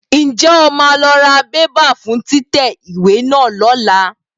Ǹjẹ́ o máa lọ ra bébà fún títẹ ìwé náà lọ́la?